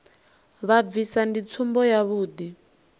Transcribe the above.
vha bvisa ndi tsumbo yavhuḓi